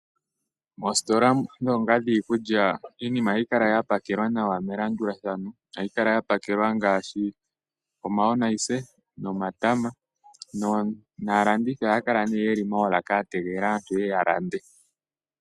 Oositola ngaashi ndho dhiikulya iinima ohayi kala ya pakelwa nawa melandulathano, ohayi kala ya pakelwa ngaashi omayonisa nomatama naalandithi ohaya kala yeli moolaka ya tegelela aantu yeye ya lande.